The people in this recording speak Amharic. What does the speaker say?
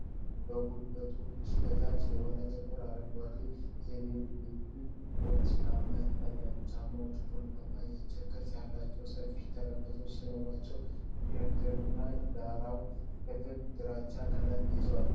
ከጉልበቶች በታች የሆኑ ጥቁር አረንጓዴ የቬልቬት ቦቲ ጫማዎች ይታያሉ። ጫማዎቹ ቡናማ የእንጨት ቅርፅ ያላቸው ሰፋፊ ተረከዞች ሲኖራቸው፣ የእግርና ዳራው ክፍል ግራጫማ ቀለም ይዟል።